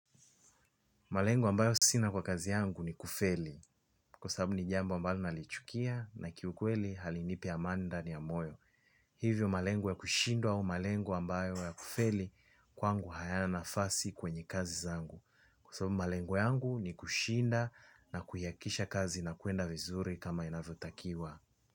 Malengo ambayo sina kwa kazi yangu ni kufeli. Kwa sababu ni jambo ambalo nalichukia na kiukweli halinipi amani ndani ya moyo. Hivyo malengo ya kushindwa au malengo ambayo ya kufeli kwangu hayana nafasi kwenye kazi zangu kwa sababu malengo yangu ni kushinda na kuihakikisha kazi inakwenda vizuri kama inavyotakiwa.